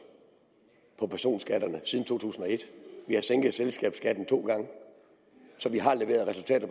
på personskatterne siden to tusind og et vi har sænket selskabsskatten to gange så vi har leveret resultater